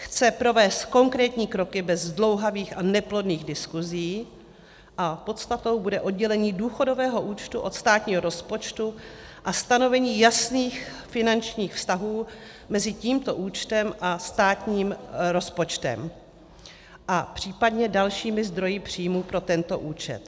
Chce provést konkrétní kroky bez zdlouhavých a neplodných diskusí a podstatou bude oddělení důchodového účtu od státního rozpočtu a stanovení jasných finančních vztahů mezi tímto účtem a státním rozpočtem a případně dalšími zdroji příjmů pro tento účet.